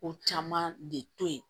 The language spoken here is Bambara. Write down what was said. Ko caman de to yen